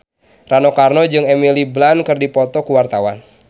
Rano Karno jeung Emily Blunt keur dipoto ku wartawan